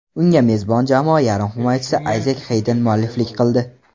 Unga mezbon jamoa yarim himoyachisi Ayzek Xeyden mualliflik qildi.